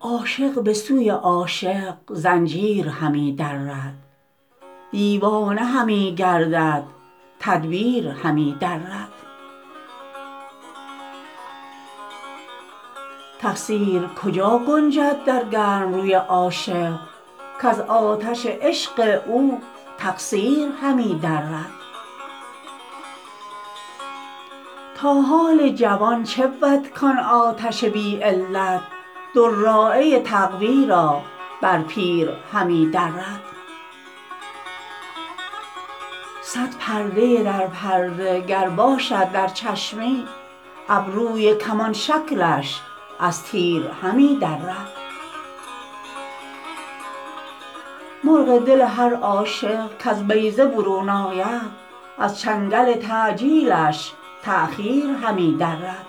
عاشق به سوی عاشق زنجیر همی درد دیوانه همی گردد تدبیر همی درد تقصیر کجا گنجد در گرم روی عاشق کز آتش عشق او تقصیر همی درد تا حال جوان چه بود کان آتش بی علت دراعه تقوا را بر پیر همی درد صد پرده در پرده گر باشد در چشمی ابروی کمان شکلش از تیر همی درد مرغ دل هر عاشق کز بیضه برون آید از چنگل تعجیلش تأخیر همی درد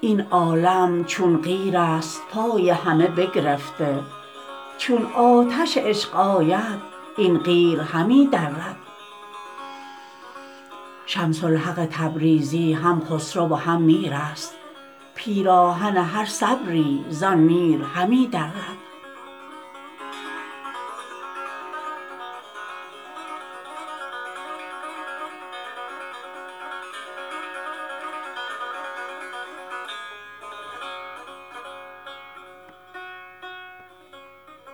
این عالم چون قیرست پای همه بگرفته چون آتش عشق آید این قیر همی درد شمس الحق تبریزی هم خسرو و هم میرست پیراهن هر صبری زان میر همی درد